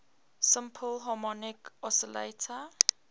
simple harmonic oscillator